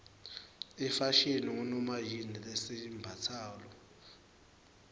ifashini ngunomayini lesiyimbatsalo